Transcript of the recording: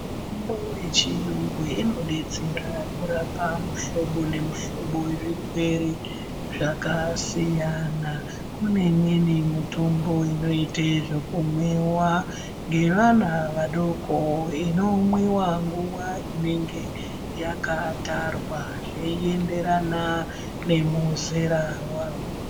Mitombo yechiyungu inodetsera kurapa muhlobo nemihlobo yezvirwere Zvakasiyana kune imweni mitombo inoite zvekumwiwa ngevana vadoko inomwiwa nguwa inenge yakatarwa zveienderana nemuzera wawo.